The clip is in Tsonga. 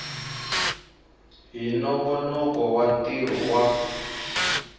hi nongonoko wa ntirho wa